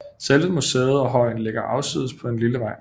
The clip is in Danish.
Selve museet og højen ligger afsides på en lille vej